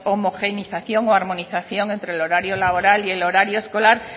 homogeneización o armonización entre el horario laboral y el horario escolar